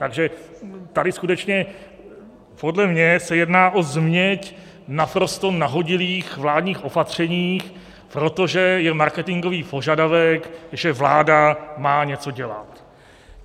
Takže tady skutečně podle mě se jedná o změť naprosto nahodilých vládních opatření, protože je marketingový požadavek, že vláda má něco dělat.